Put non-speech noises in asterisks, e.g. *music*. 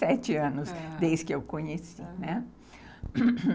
*unintelligible* quarenta e sete anos desde que eu conheci, né. *coughs*